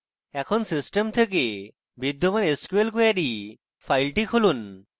এখন system থেকে বিদ্যমান sql query file খুলুন